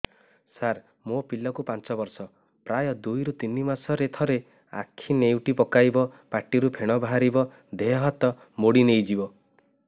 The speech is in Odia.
ସାର ମୋ ପିଲା କୁ ପାଞ୍ଚ ବର୍ଷ ପ୍ରାୟ ଦୁଇରୁ ତିନି ମାସ ରେ ଥରେ ଆଖି ନେଉଟି ପକାଇବ ପାଟିରୁ ଫେଣ ବାହାରିବ ଦେହ ହାତ ମୋଡି ନେଇଯିବ